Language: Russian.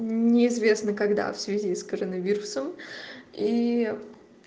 неизвестно когда в связи с коронавирусом и